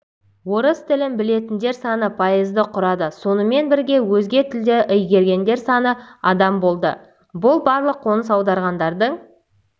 орыс тілін білетіндер саны пайызды құрады сонымен бірге өзге тілдерді игергендер саны адам болды бұл барлық қоныс аударғандардың